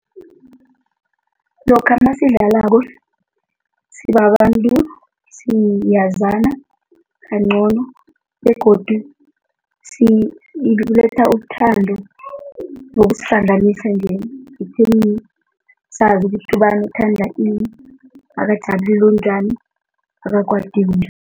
Lokha nasidlalako sibabantu siyazana kancono begodu siletha uthando nokusihlanganisa nje ekutheni sazi ukuthi ubani uthanda ini, akathandi onjani